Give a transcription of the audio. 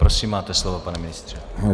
Prosím, máte slovo, pane ministře.